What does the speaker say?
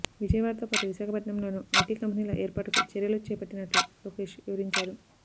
విజయవాడతో పాటు విశాఖపట్నంలోనూ ఐటీ కంపెనీల ఏర్పాటుకు చర్యలు చేపట్టినట్లు లోకేశ్ వివరించారు